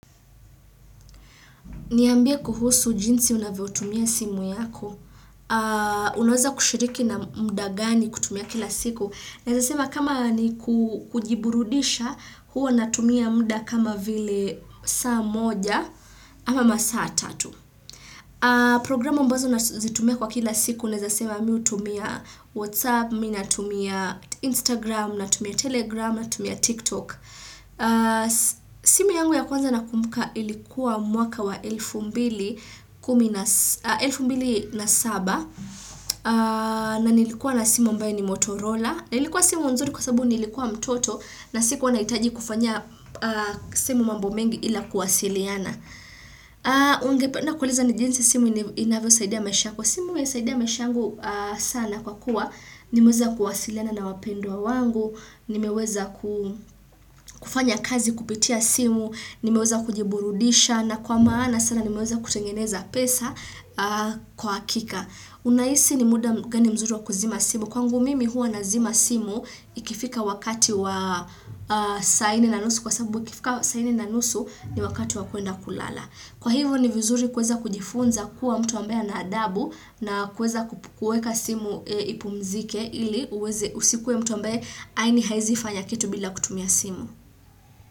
Niambie kuhusu jinsi unavyo tumia simu yako. Unaweza kushiriki na muda gani kutumia kila siku. Naeza sema kama ni kujiburudisha, huwa natumia mda kama vile saa moja ama masaa tatu. Programu mbozo unazitumia kwa kila siku. Naeza sema miu tumia Whatsapp, mimi natumia Instagram, natumia Telegram, na tumia TikTok. Simu yangu ya kwanza nakumuka ilikuwa mwaka wa elfu mbili. Elfu mbili na saba na nilikuwa na simu ambaye ni Motorola na ilikuwa simu mzuri kwa sababu nilikuwa mtoto na siku wanahitaji kufanya simu mambo mengi ila kuwasiliana ungependa kuuliza ni jinsi simu inavyozaidea mesha kwa simu ya saidea mesha angu sana kwa kuwa nimeweza kuwasiliana na wapendwa wangu nimeweza kufanya kazi kupitia simu nimeweza kujiburudisha na kwa maana sana nimeweza kutengeneza pesa kwa hakika. Unahisi ni muda gani mzuri wa kuzima simu. Kwangu mimi huwa nazima simu ikifika wakati wa sa nne na nusu kwa sababu ikifika saa nne na nusu ni wakati wa kwenda kulala. Kwa hivyo ni vizuri kueza kujifunza kuwa mtu ambaye na adabu na kueza kukueka simu ipumzike ili usikue mtu ambaye haini haizifa ya kitu bila kutumia simu.